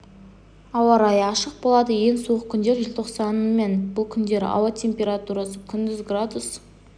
ауа райы ашық болады ең суық күндер желтоқсанның мен бұл күндері ауа температурасы күндіз градус